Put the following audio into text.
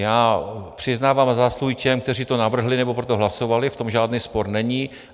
Já přiznávám zásluhy těm, kteří to navrhli nebo pro to hlasovali, v tom žádný spor není.